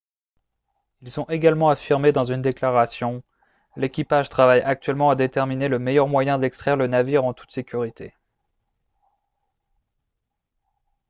ils ont également affirmé dans une déclaration :« l'équipage travaille actuellement à déterminer le meilleur moyen d'extraire le navire en toute sécurité »